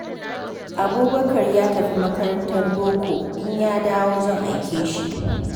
Abubakar ya tafi makarantar boko, in ya dawo zan aike shi.